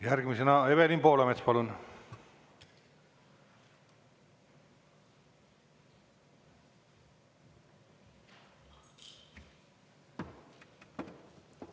Järgmisena Evelin Poolamets, palun!